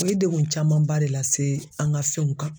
O ye degun camanba de lase an ŋa fɛnw kan.